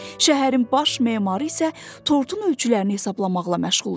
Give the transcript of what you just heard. Şəhərin baş memarı isə tortun ölçülərini hesablamaqla məşğul idi.